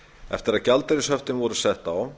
eftir að gjaldeyrishöftin voru sett á